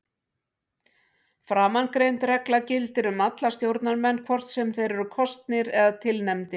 Framangreind regla gildir um alla stjórnarmenn hvort sem þeir eru kosnir eða tilnefndir.